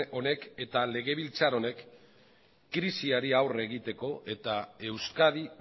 honek eta legebiltzar honek krisiari aurre egiteko eta euskadi